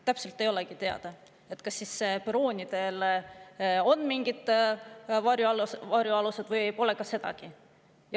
Täpselt ei olegi teada, kas perroonidel on mingid varjualused või pole sedagi.